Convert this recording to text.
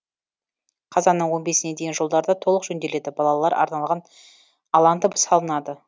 қазанның он бесіне дейін жолдар да толық жөнделеді балалар арналған алаң да салынады